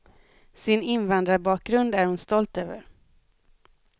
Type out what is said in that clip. Sin invandrarbakgrund är hon stolt över.